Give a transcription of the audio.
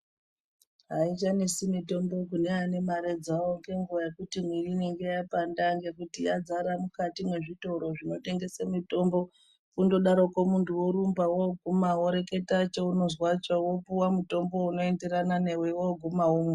Aichanesi mutombo kune ane marw dzawo ngenguwa yekuti mwiri inenge yapanda ngekuti yadzara mukati mwezvitoro zvinotengese mutombo kundodarokwo muntu worumba woguma woreketa cheunozwacho wopuwa mutombo unoenderana newe woguma womwa.